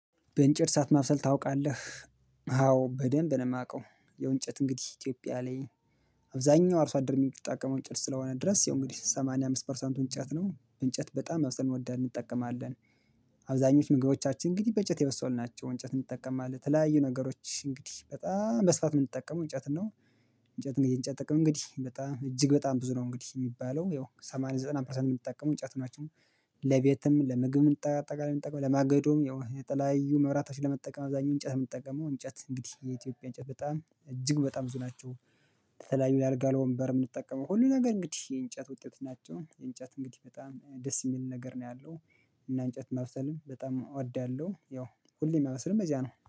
በእንጨት እሳት ማብሰል ታውቃለህ? አዎ በደንብ ነው የማውቀው። ያው እንጨት እንግዲህ ኢትዮጵያ ላይ አብዛኛው አርሶ አደር የሚጣቀመው እንጨት ስለሆነ ድረስ ያው እንግዲህ ሰማንያ አምስት ፐርሰንቱ እንጨት ነው። እንጨት በጣም አብዝተን እንወዳለን እንጠቀማለን። አብዛኞቹ ምግቦቻችን እንግዲህ በእጨት የበሰሉ ናቸው። እንጨት እንጠቀማለን የተለያዩ ነገሮች እንግዲህ በጣም በስፋት የምንጠቀመው እንጨትን ነው። እንጨት እንግዲህ የእንጨት ጥቅም እንግዲህ በጣም እጅግ በጣም ብዙ ነው እንግዲህ የሚባለው ያው ሰማንያ ዘጠና ፐርሰንት የምንጠቀመው እንጨት ናቸው። ለቤትም ለምግብም እንጠቃላይ ምንጠቀው ለማገዶም ያው የተለያዩ መብራቶችን ለመጠቀም አብዛኛው እንጨት የምንጠቀመው እንጨት እንግዲህ የኢትዮጵያ እንጨት በጣም እጅግ በጣም ብዙ ናቸው። የተለያዩ ለአልጋ ለወንበር የምንጠቀመው ሁሉ ነገር እንግዲህ የእንጨት ውጤቶች ናቸው። እንጨት እንግዲህ በጣም ደስ የሚል ነገር ነው ያለው። እና እንጨት ማብሰልም በጣም እወዳለሁ። ያው ሁሌም ማበስልም በዚያ ነው።